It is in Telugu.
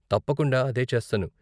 తప్పకుండా అదే చేస్తాను.